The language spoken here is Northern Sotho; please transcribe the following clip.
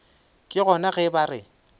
ke gona ge ba re